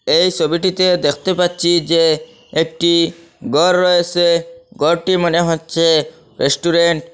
এই ছবিটিতে দেখতে পাচ্ছি যে একটি গর রয়েসে গরটি মনে হচ্ছে রেস্টুরেন্ট ।